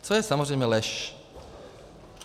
Což je samozřejmě lež.